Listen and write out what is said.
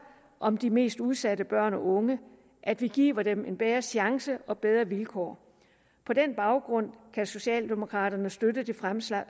om de mest udsatte børn og unge at vi giver dem en bedre chance og bedre vilkår på den baggrund kan socialdemokraterne støtte det fremsatte